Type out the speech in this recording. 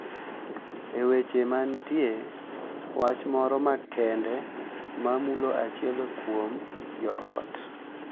E weche ma nitie wach moro makende ma mulo achiel kuom jo ot,